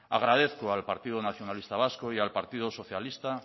agradezco al partido nacionalista vasco y al partido socialista